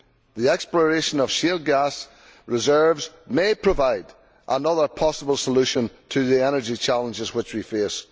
The exploration of shale gas reserves may provide another possible solution to the energy challenges which we face.